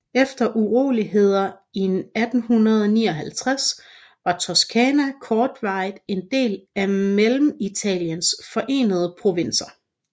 Efter uroligheder i 1859 var Toscana kortvarigt en del af Mellemitaliens Forenede Provinser